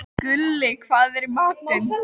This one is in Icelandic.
Gulli, hvað er í matinn?